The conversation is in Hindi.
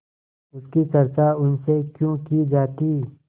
उसकी चर्चा उनसे क्यों की जाती